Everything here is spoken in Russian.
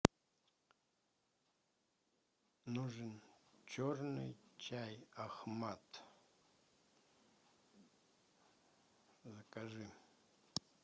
нужен черный чай ахмад закажи